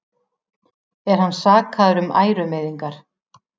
Er hann sakaður um ærumeiðingar